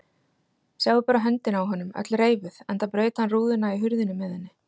Sjáið bara höndina á honum, öll reifuð enda braut hann rúðuna í hurðinni með henni.